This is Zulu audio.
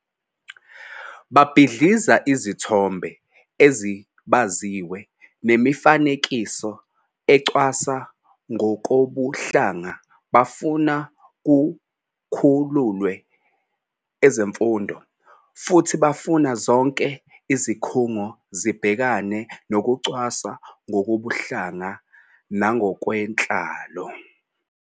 Babhidliza izithombe ezibaziwe nemifanekiso ecwasa ngokobuhlanga, bafuna kukhululwe ezemfundo, futhi bafuna zonke izikhungo zibhekane nokucwaswa ngokobuhlanga nangokwenhlalo.